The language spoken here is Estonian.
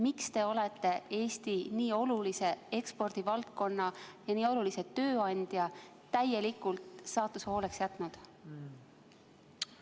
Miks te olete Eesti nii olulise ekspordivaldkonna ja nii olulise tööandja täielikult saatuse hooleks jätnud?